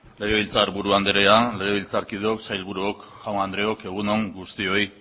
legebiltzarburu andrea legebiltzarkideok sailburuok jaun andreok egun on guztioi